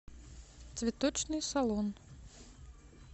цветочный салон